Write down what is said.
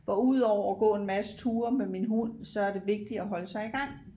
For udover at gå en masse ture med min hund så er det vigtigt at holde sig i gang